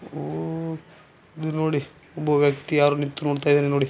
ಉಹ್ ಇದು ನೋಡಿ ಒಬ್ಬ ವ್ಯಕ್ತಿ ಯಾರೋ ನಿಂತು ನೋಡ್ತಾ ಇದಾನೆ ನೋಡಿ.